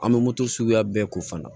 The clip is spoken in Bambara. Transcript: An bɛ moto suguya bɛɛ ko fana